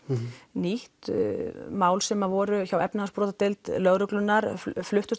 nýtt mál sem að voru hjá efnahagsbrotadeild lögreglunnar fluttust